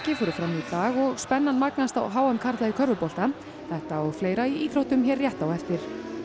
fóru fram í dag og spennan magnast á h m karla í körfubolta þetta og fleira í íþróttum hér rétt á eftir